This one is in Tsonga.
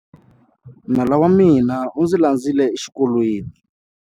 Nala wa mina u ndzi landzile exikolweni.